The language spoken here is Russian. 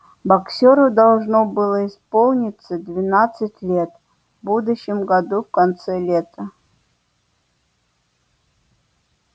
боксёру должно было исполниться двенадцать лет в будущем году в конце лета